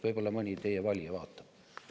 Võib-olla mõni teie valija vaatab.